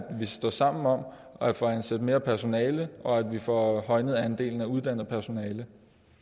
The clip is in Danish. vi står sammen om at få ansat mere personale og at vi får højnet andelen af uddannet personale